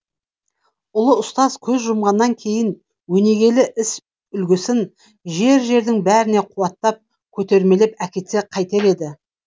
ұлы ұстаз көз жұмғаннан кейін өнегелі іс үлгісін жер жердің бәрінде қуаттап көтермелеп әкетсе қайтер еді